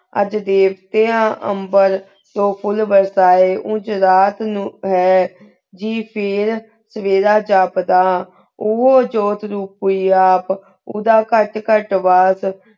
ਅਜਹ ਦੇਹ੍ਤਾਂ ਉਮ੍ਬੇਰ ਤੂੰ ਫੁਲ ਬੇਰਸੀ ਉਂਜ ਰਾਤ ਨੂ ਜੀ ਫੇਰ ਸੇਵੇਰਾ ਜਾਪਦਾ ਉਹੁ ਜੋਤ ਨੂ ਕੋਈ ਆਪ ਉੜਾ ਕਤ ਕਤ ਮਾਸ